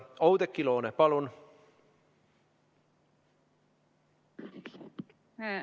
Oudekki Loone, palun!